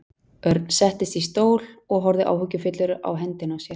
Örn settist í stól og horfði áhyggjufullur á hendina á sér.